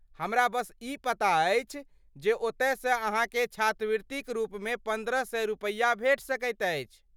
हमरा बस ई पता अछि जे ओतयसँ अहाँकेँ छात्रवृतिक रूपमे पन्द्रह सए रुपया भेटि सकैत अछि।